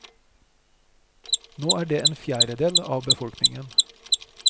Nå er det en fjerdedel av befolkningen.